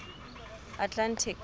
atlantic